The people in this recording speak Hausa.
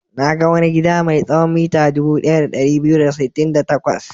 Na ga wani gida mai tsawon mita dubu ɗaya da ɗari biyu da sittin da takwas.